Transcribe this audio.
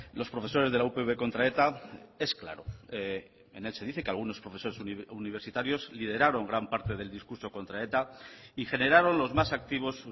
los profesores de la upv contra eta es claro en él se dice que algunos profesores universitarios lideraron gran parte del discurso contra eta y generaron los más activos